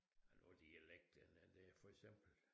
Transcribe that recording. Og nu dialekterne det for eksempel